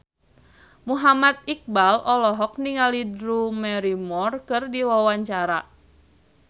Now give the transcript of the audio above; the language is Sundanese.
Muhammad Iqbal olohok ningali Drew Barrymore keur diwawancara